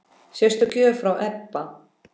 Sérstök gjöf frá Ebba.